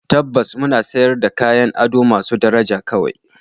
Tabbas! muna sayar da kayan ado masu daraja kawai